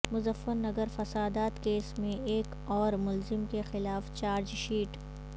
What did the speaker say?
مظفر نگر فسادات کیس میں ایک اور ملزم کے خلاف چارج شیٹ